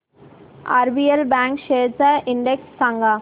RBL bank shares चा index सांगा